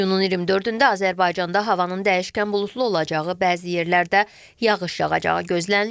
İyunun 20-də Azərbaycanda havanın dəyişkən buludlu olacağı, bəzi yerlərdə yağış yağacağı gözlənilir.